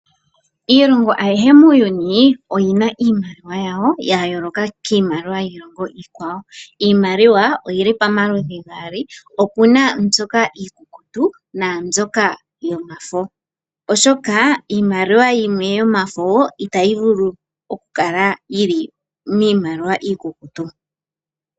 Iilongo ayihe muuyuni oyi na iimaliwa yawo ya yooloka kiimaliwa yiilongo iikwawo. Iimaliwa oyi li pamaludhi gaali opu na mbyoka iikukutu naambyoka yomafo, oshoka iimaliwa yimwe yomafo itayi vulu okukala yi li miimaliwa iikukutu.